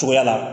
Cogoya la